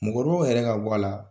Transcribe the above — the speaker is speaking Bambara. Mɔkɔrɔbaw yɛrɛ ka bɔ a la